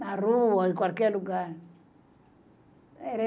Na rua, em qualquer lugar.